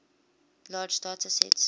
large data sets